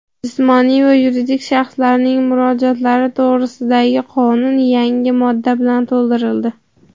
"Jismoniy va yuridik shaxslarning murojaatlari to‘g‘risida"gi Qonun yangi modda bilan to‘ldirildi.